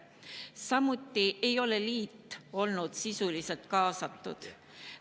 Samuti ei ole liit olnud sisuliselt kaasatud.